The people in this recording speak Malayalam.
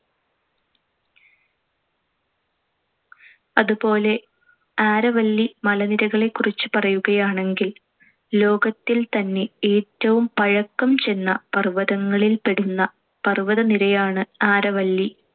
അതുപോലെ ആരവല്ലി മലനിരകളെക്കുറിച്ച് പറയുകയാണെങ്കിൽ ലോകത്തിൽ തന്നെ ഏറ്റവും പഴക്കം ചെന്ന പർ‌വ്വതങ്ങളിൽപ്പെടുന്ന പർ‌വ്വതനിരയാണ്‌ ആരവല്ലി.